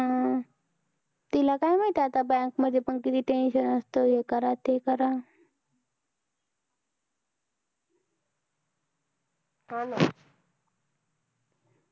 हा ना